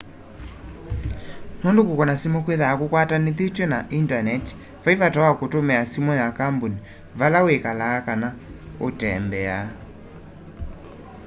nundu kukuna simu kwithwaa kukwatanithitw'e na indaneti vai vata wa kutumia simu ya kambuni vala wikalaa kana vala uutembea